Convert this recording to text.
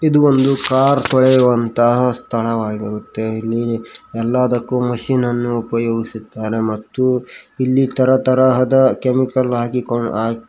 ಇದು ಒಂದು ಕಾರ್ ತೊಳೆಯುವಂತ ಸ್ಥಳವಾಗಿರುತ್ತೆ ಎಲ್ಲಾದಕ್ಕೂ ಮಿಷಿನನ್ನು ಉಪಯೋಗಿಸುತ್ತಾರೆ ಮತ್ತು ಇಲ್ಲಿ ತರತರಹದ ಕೆಮಿಕಲ್ ಹಾಕಿಕೊಂ ಹಾಕಿ--